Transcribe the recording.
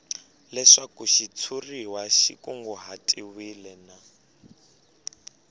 leswaku xitshuriwa xi kunguhatiwile na